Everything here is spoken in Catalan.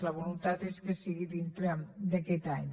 la voluntat és que sigui dintre d’aquest any